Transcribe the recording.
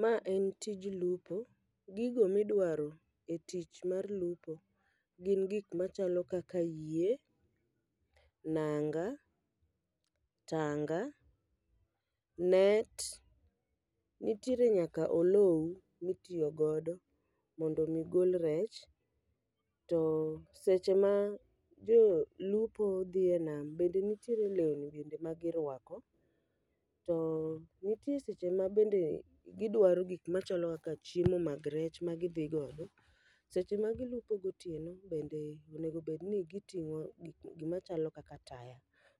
Ma en tij lupo, gigo midwaro e tich mar lupo gin gik machalo kaka yie, nanga, tanga, net, niere nyaka olou mitiyo godo mondo mi gol rech. To seche ma jo lupo dhi e nam bende nitiere lewni bende ma girwako. To nitie seche ma bende gidwaro gik machalo kaka chiemo mag rech ma gidhi gogo. Seche ma gilupo gotieno bende, onegobedni giting'o gimachalo kaka taya,